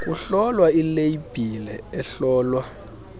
kuhlolwa ileyibhile ihlolwa